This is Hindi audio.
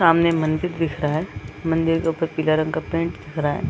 सामने मंदिर दिख रहा हैं मंदिर के उपर पीला रंग का पेंट दिख रहा हैं।